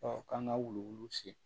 k'an ka wuluwulu sen